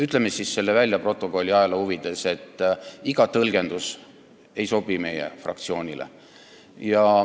Ütleme siis selle välja, stenogrammi ja ajaloo huvides: iga tõlgendus ei sobi meie fraktsioonile.